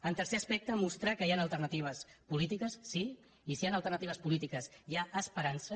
el tercer aspecte mostrar que hi han alternatives polítiques sí i si hi han alternatives polítiques hi ha esperança